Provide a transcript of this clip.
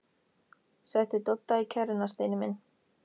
SETTU DODDA Í KERRUNA, STEINI MINN!